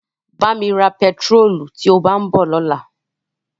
Bá mi ra bẹntiróòlù tí ó bá ń bọ̀ lọ́la.